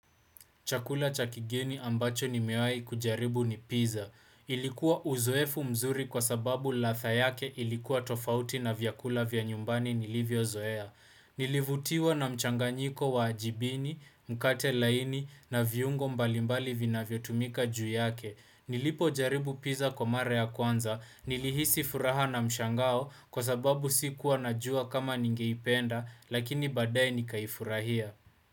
Chakula chakigeni ambacho nimewai kujaribu ni pizza. Ilikuwa uzoefu mzuri kwa sababu ladha yake ilikuwa tofauti na vyakula vya nyumbani nilivyozoea. Nilivutiwa na mchanganyiko wa ajibini, mkate laini na viungo mbalimbali vinavyotumika juu yake. Nilipojaribu pizza kwa mara ya kwanza, nilihisi furaha na mshangao kwa sababu si kuwa najua kama ningeipenda, lakini badaye nikaifurahia.